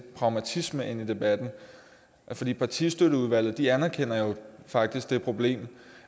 pragmatisme ind i debatten partistøtteudvalget anerkender jo faktisk det problem